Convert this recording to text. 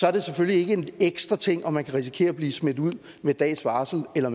er det selvfølgelig ikke en ekstra ting om man kan risikere at blive smidt ud med dags varsel eller